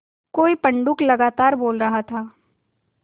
कोई पंडूक लगातार बोल रहा था